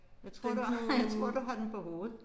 Jeg tror du har jeg tror du har den på hovedet